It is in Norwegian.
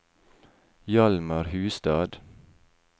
Hjalmar Hustad